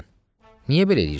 Niyə belə eləyirsən?